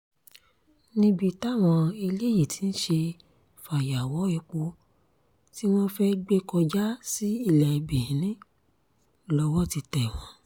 níbi táwọn eléyìí ti ń ṣe fàyàwọ́ epo tí wọ́n fẹ́ẹ́ gbé kọjá sí ilé benin lọ́wọ́ ti tẹ̀ wọ́n